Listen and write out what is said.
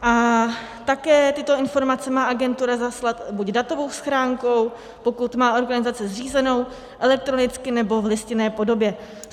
A také tyto informace má agentura zaslat buď datovou schránkou, pokud má organizace zřízenou, elektronicky nebo v listinné podobě.